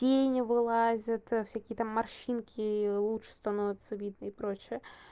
тени вылазят всякие там морщинки лучше становятся видны и прочее